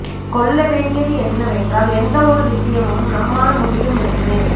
கொள்ள வேண்டியது என்னவென்றால் எந்த ஒரு விசயமும் நம்மால் முடியும் என்று